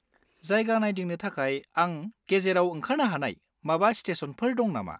जायगा नायदिंनो थाखाय आं गेजेरआव ओंखारनो हानाय माबा स्टेसनफोर दं नामा?